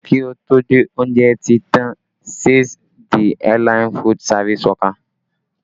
Kí ó tó dé, oúnjẹ ti tàn, says the airline food service worker